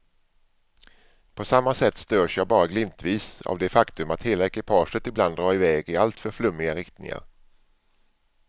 På samma sätt störs jag bara glimtvis av det faktum att hela ekipaget ibland drar i väg i alltför flummiga riktningar.